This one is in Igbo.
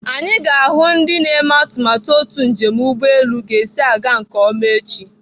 Anyị ga-ahụ ndị na-eme atụmatụ otu njem ụgbọelu ga-esi aga nke ọma echi.